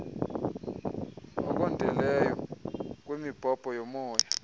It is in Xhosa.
okondeleyo kwemibhobho yomoya